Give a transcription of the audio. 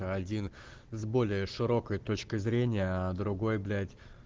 один с более широкой точкой зрения а другой блять